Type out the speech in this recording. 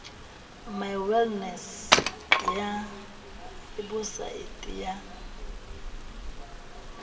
my wellness ya webosaete ya